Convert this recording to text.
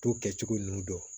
To kɛcogo ninnu dɔn